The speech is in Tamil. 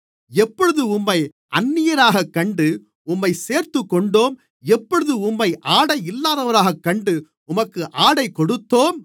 எப்பொழுது உம்மை அந்நியராகக் கண்டு உம்மைச் சேர்த்துக்கொண்டோம் எப்பொழுது உம்மை ஆடையில்லாதவராகக் கண்டு உமக்கு ஆடை கொடுத்தோம்